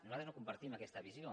nosaltres no compartim aquesta visió